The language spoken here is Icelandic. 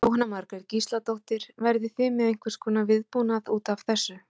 Jóhanna Margrét Gísladóttir: Verðið þið með einhvers konar viðbúnað útaf þessu?